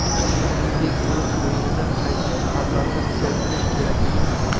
Shuningdek, o‘z o‘yinini qaysi jihatlarini kuchaytirish kerakligini ham.